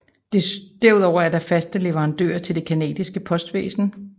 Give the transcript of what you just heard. Derudover er de faste leverandører til det Canadiske postvæsen